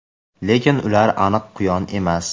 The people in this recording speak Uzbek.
lekin ular aniq quyon emas.